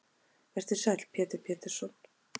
Vertu sæll Pétur Pétursson.